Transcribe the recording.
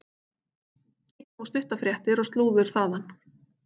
Kíkjum á stuttar fréttir og slúður þaðan.